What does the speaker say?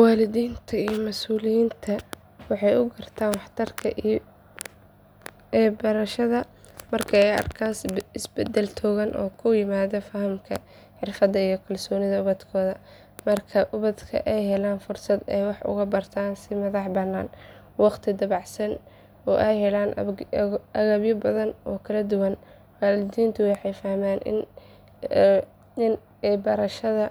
Waalidiinta iyo mas’uuliyiinta waxay u gartaan waxtarka ebarashada marka ay arkaan isbedel togan oo ku yimaada fahamka, xirfadda iyo kalsoonida ubadkooda. Marka ubadka ay helaan fursad ay wax ugu bartaan si madax bannaan, waqtiyo dabacsan oo ay helaan agabyo badan oo kala duwan, waalidiintu waxay fahmaan in ebarashada